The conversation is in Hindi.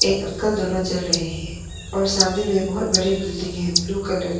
एक अंकल दोनों चल रहे हैं और सामने में बहुत बड़ी बिल्डिंग है ब्लू कलर की।